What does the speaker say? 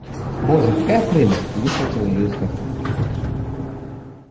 боже какая прелесть и выхватила её из картонки